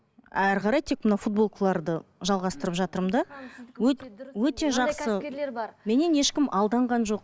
әрі қарай тек мына футболкаларды жалғастырып жатырмын да өте жақсы меннен ешкім алданған жоқ